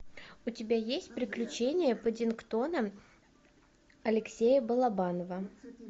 у тебя есть приключения паддингтона алексея балабанова